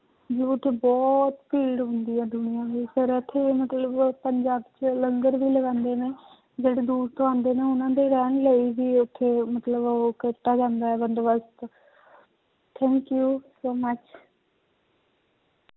ਉੱਥੇ ਬਹੁਤ ਭੀੜ ਹੁੰਦੀ ਹੈ ਦੁਨੀਆ ਦੀ ਪਰ ਇੱਥੇ ਮਤਲਬ ਪੰਜਾਬ 'ਚ ਲੰਗਰ ਵੀ ਲਗਾਉਂਦੇ ਨੇ ਜਿਹੜੇ ਦੂਰ ਤੋਂ ਆਉਂਦੇ ਨੇ ਉਹਨਾਂ ਦੇ ਰਹਿਣ ਲਈ ਵੀ ਉੱਥੇ ਮਤਲਬ ਉਹ ਕੀਤਾ ਜਾਂਦਾ ਹੈ ਬੰਦੋਬਸ਼ਤ thank you so much